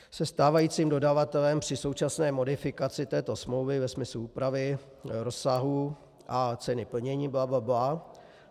Se stávajícím dodavatelem při současné modifikaci této smlouvy ve smyslu úpravy, rozsahu a ceny plnění - bla, bla, bla.